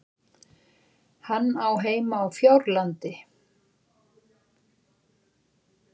Hann á heima á Fjárlandi.